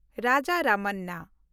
Raja Ramanna